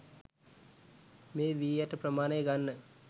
මේ වී ඇට ප්‍රමාණය ගන්න